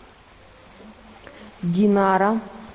динара